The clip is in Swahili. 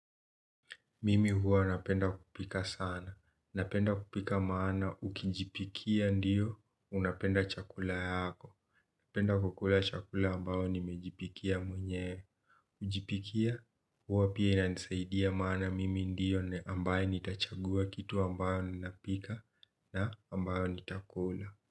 Mimi huwa napenda kupika sana. Napenda kupika maana ukijipikia ndiyo unapenda chakula yako. Penda kukula chakula ambayo nimejipikia mwenye ujipikia. Huwa pia inanisaidia maana mimi ndiyo ambaye nitachagua kitu ambao ninapika na ambayo nitakula.